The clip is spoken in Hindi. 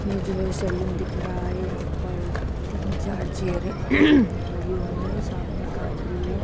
ये जो है सैलून दिख रहा है यहां पर तीन चार चेयरे लगी हुई है सामने कांच भी है।